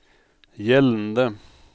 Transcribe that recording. gjeldende